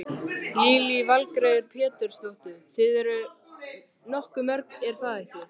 Lillý Valgerður Pétursdóttir: Þið eruð nokkuð mörg er það ekki?